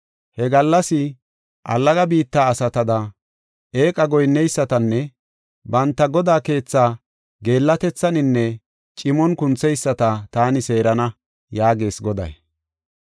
He gallas allaga biitta asatada, eeqa goyinneysatanne banta godaa keethaa geellatethaninne cimon kuntheyisata taani seerana” yaagees Goday.